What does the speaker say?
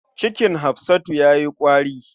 Cikin Hafsatu ya yi ƙwari.